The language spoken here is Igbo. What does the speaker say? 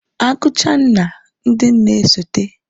Agucha nna, ndị nne na-esote